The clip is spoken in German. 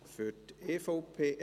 Für die EVP …